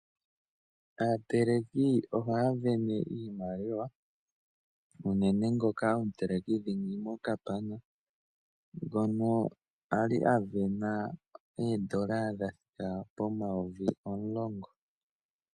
Aateleki ohaya sindana iimaliwa, unene ngoka omuteleki dhingi mokapana ngono a li a sindana oondola dha thika pomayovi omulongo.